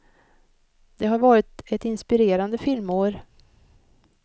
Det har varit ett inspirerande filmår.